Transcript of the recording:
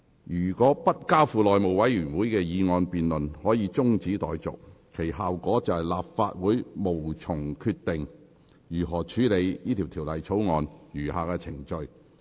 若就該議案進行的辯論可以中止待續，其效果是立法會無從決定如何處理法案的餘下程序。